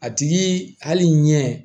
A tigi hali ɲɛ